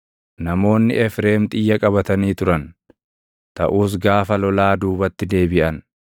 Namoonni Efreem xiyya qabatanii turan; taʼus gaafa lolaa duubatti deebiʼan.